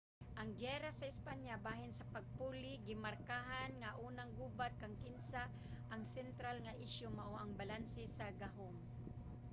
ang giyera sa espanya bahin sa pagpuli gimarkahan nga unang gubat kang kinsa ang sentral nga isyu mao ang balanse sa gahum